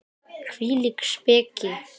Hvílík speki!